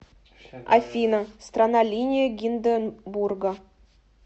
афина страна линия гинденбурга